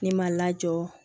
Ne ma lajɔ